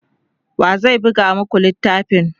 wa zai buga maku littafin?